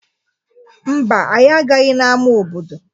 Mba, anyị agaghị n'ama obodo.